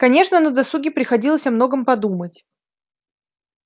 конечно на досуге приходилось о многом подумать